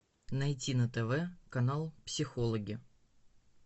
найти на тв канал психологи